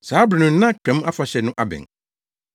Saa bere no na Twam Afahyɛ no abɛn.